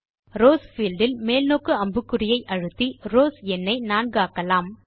rows field இல் மேல்நோக்கு அம்புக்குறியை அழுத்தி ரவ்ஸ் எண்ணை 4 ஆக்கலாம்